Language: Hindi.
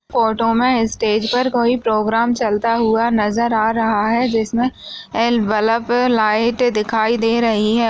फोटो मे स्टेज पर कोई प्रोग्राम चलता हुआ नज़र आ रहा है जिसमे एल बलब है लाइट दिखाई दे रही है।